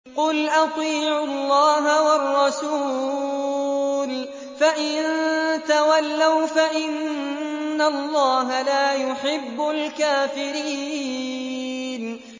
قُلْ أَطِيعُوا اللَّهَ وَالرَّسُولَ ۖ فَإِن تَوَلَّوْا فَإِنَّ اللَّهَ لَا يُحِبُّ الْكَافِرِينَ